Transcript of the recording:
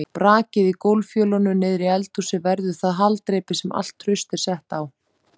Brakið í gólffjölunum niðri í eldhúsi verður það haldreipi sem allt traust er sett á.